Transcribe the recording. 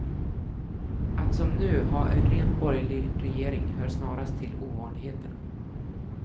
Att som nu, ha en rent borgerlig regering, hör snarast till ovanligheterna.